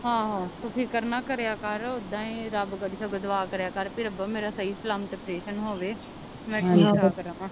ਆਹੋ ਤੂੰ ਫਿਕਰ ਨਾ ਕਰੇਆ ਕਰ ਓਦਾਂ ਈ ਰੱਬ ਅੱਗੇ ਦਵਾ ਕਰੇਆ ਕਰ ਕੇ ਰੱਬਾ ਮੇਰਾ ਸਹੀ ਸਲਾਮਤ ਪ੍ਰੇਸਨ ਹੋਵੇ